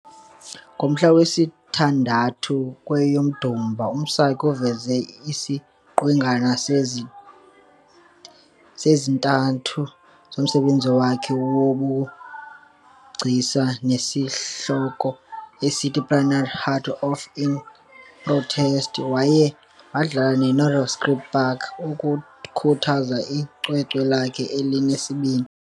Ngomhla wesithandathu kweyoMdumba, uMsaki uveze iziqwenga ezintandathu zomsebenzi wakhe wobugcisa onesihloko esithi "Platinumb Heart of Love In Protest" kwaye wadlala eNirox Sculpture park ukukhuthaza icwecwe lakhe elinesibini.